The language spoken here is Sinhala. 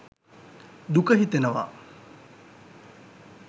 දුක හිතෙනවා